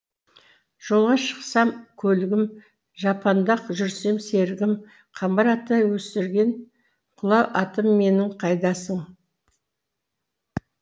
жолға шықсам көлігім жапанда жүрсем серігім қамбар ата өсірген құла атым менің қайдасың